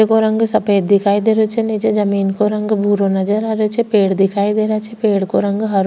ये को रंग सफ़ेद दिखाई दे रो छे नीचे जमीन को रंग भूरो नजर आ रेहो छे पेड़ दिखाई दे रा छे पेड़ को रंग हरो --